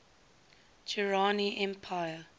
durrani empire